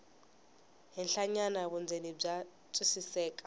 henhlanyana vundzeni bya twisiseka